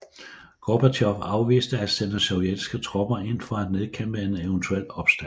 Gorbatjov afviste at sende sovjetiske tropper ind for at nedkæmpe en eventuel opstand